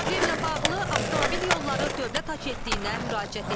Problemlə bağlı avtomobil yolları Dövlət Agentliyinə müraciət etdik.